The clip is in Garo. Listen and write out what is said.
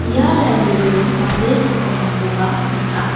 ia library-o mande sakbongakoba nika.